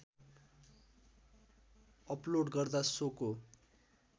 upload गर्दा सोको